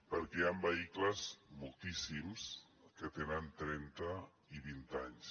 perquè hi han vehicles moltíssims que tenen trenta i vint anys